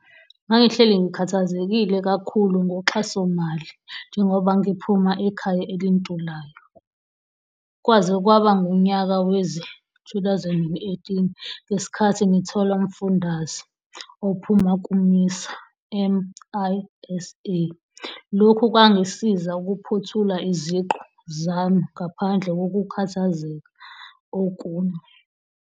"Ngangihleli ngikhathazekile kakhulu ngoxhasomali njengoba ngiphuma ekhaya elintulayo. Kwaze kwaba ngunyaka wezi-2018, ngesikhathi ngitholaumfundaze ophuma ku-MISA. Lokhu kwangisiza ukuphothula iziqu zami ngaphandle kokukhathazeka okunye."